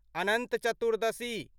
Anant Chaturdashi